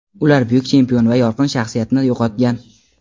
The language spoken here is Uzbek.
Ular buyuk chempion va yorqin shaxsiyatni yo‘qotgan.